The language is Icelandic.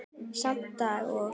Sama dag og